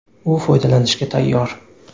U foydalanishga tayyor.